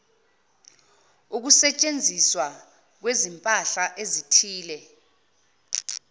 ukusetshenziswa kwezimpahla ezithile